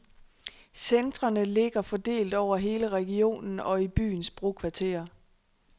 Centrene ligger fordelt over hele regionen og i byens brokvarterer.